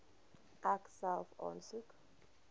ek self aansoek